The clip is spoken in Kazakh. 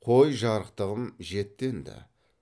қой жарықтығым жетті енді